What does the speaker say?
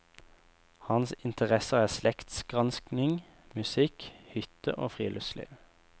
Hans interesser er slektsgranskning, musikk, hytte og friluftsliv.